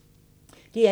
DR1